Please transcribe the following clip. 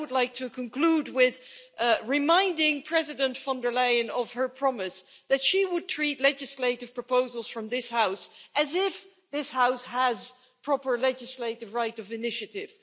I would like to conclude by reminding President von der Leyen of her promise that she would treat legislative proposals from this House as if this House has the proper legislative right of initiative.